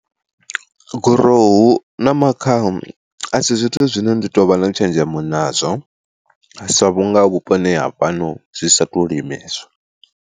Gorohu na makhaha a si zwithu zwine ndi tou vha na tshenzhemo nazwo sa vhunga vhuponi ha fhano zwi sa to limeswa.